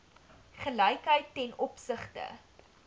gelykheid ten opsigte